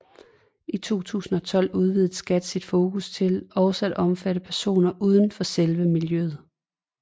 I 2012 udvidede Skat sit fokus til også at omfatte personer uden for selve miljøet